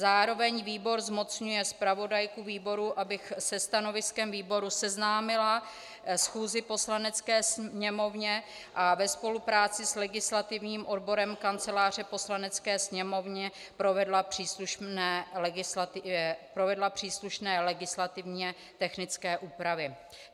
Zároveň výbor zmocňuje zpravodajku výboru, abych se stanoviskem výboru seznámila schůzi Poslanecké sněmovny a ve spolupráci s legislativním odborem Kanceláře Poslanecké sněmovny provedla příslušné legislativně technické úpravy.